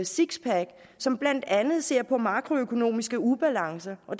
six pack som blandt andet ser på makroøkonomiske ubalancer og